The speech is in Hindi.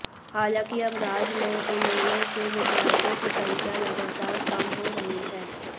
हालांकि अब राज्य में इनेलो के विधायकों की संख्या लगातार कम हो रही है